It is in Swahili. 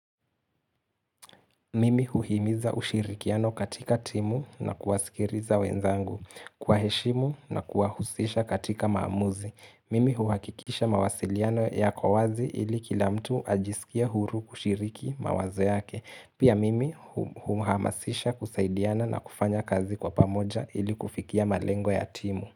Mimi huhimiza ushirikiano katika timu na kuwasikiliza wenzangu, kwa heshimu na kuwahusisha katika maamuzi. Mimi huhakikisha mawasiliano yako wazi ili kila mtu ajisikie huru kushiriki mawazo yake. Pia mimi humuhamasisha kusaidiana na kufanya kazi kwa pamoja ili kufikia malengo ya timu.